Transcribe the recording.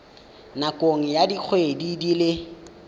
nakong ya dikgwedi di le